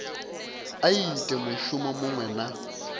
a ite mushumo muṅwe na